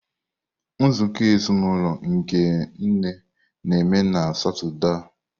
Nzukọ ezinụlọ nke nne na-eme na Satọde a.